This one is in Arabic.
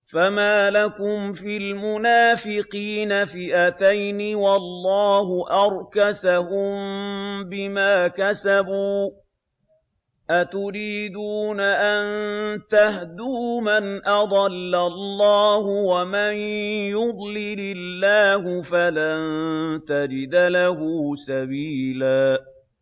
۞ فَمَا لَكُمْ فِي الْمُنَافِقِينَ فِئَتَيْنِ وَاللَّهُ أَرْكَسَهُم بِمَا كَسَبُوا ۚ أَتُرِيدُونَ أَن تَهْدُوا مَنْ أَضَلَّ اللَّهُ ۖ وَمَن يُضْلِلِ اللَّهُ فَلَن تَجِدَ لَهُ سَبِيلًا